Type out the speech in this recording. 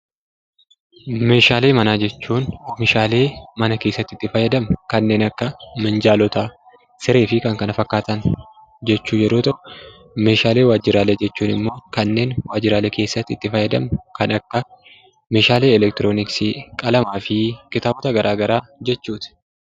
Meeshaalee manaa jechuun kannen manaa keessattibitti faayadamnuu kannen akka Minjaloota, Sirreefi kannkna fakkataan jechuu yeroo ta'u, Meeshaalee waajjiraalee jechuun kannen waajjiraalee keessatti itti faayadamnu kan akka meeshaalee Elektironiksii, Qalamaafi kitaaboota gara garaa jechuutti.